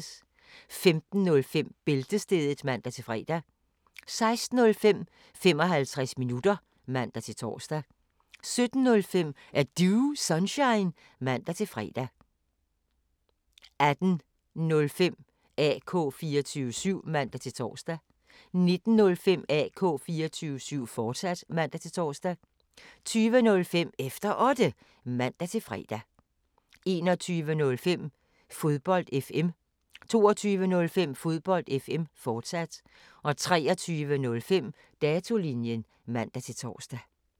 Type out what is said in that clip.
15:05: Bæltestedet (man-fre) 16:05: 55 minutter (man-tor) 17:05: Er Du Sunshine? (man-fre) 18:05: AK 24syv (man-tor) 19:05: AK 24syv, fortsat (man-tor) 20:05: Efter Otte (man-fre) 21:05: Fodbold FM 22:05: Fodbold FM, fortsat 23:05: Datolinjen (man-tor)